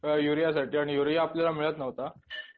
यूरियासाठी आणि युरिया आपल्याला मिळत नव्हता.